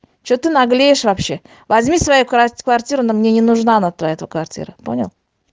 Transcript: что ты наглеешь вообще возьми свою крав квартиру она мне не нужна твоя эта квартира понял